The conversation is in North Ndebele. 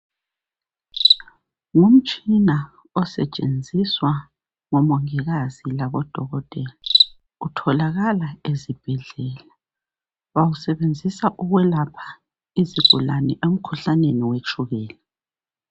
Ngumtshina osetshenziswa ngomongikazi labodokotela utholakala ezibhedlela. Bawusebenzisa ukwelapha izigulane emkhuhlaneni wetshukela.